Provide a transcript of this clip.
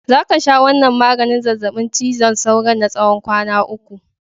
Za ka sha wannan maganin zazzabin cizon sauron na tsawon kwana uku!